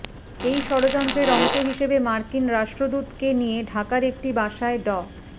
এই যড়যন্ত্রের অংশ হিসেবে মার্কিন রাষ্ট্রদূতকে নিয়ে ঢাকার একটি বাসায় ড